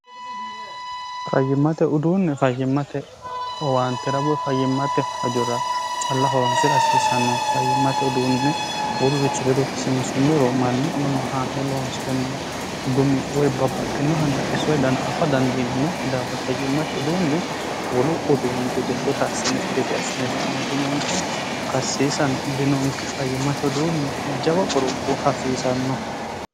fayyimmate uduunne fayyimmate owaantera woy fayyimmate hajora calla hoonsira hasiisannonke fayyimmate uduunne wolurichi ledo kisiinsummoro mannu iima haa'ne loonseemmo gumi woy babbaxxino babbaxinoha xissote dana afa dandiinemoki daafira fayyimmate uduunne wolu uduunni gede shota assine gede asine la"ano dinonke karsiisano dinonke fayyimmate uduunni jawa qorophoo hasiisanno